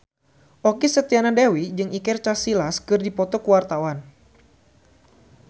Okky Setiana Dewi jeung Iker Casillas keur dipoto ku wartawan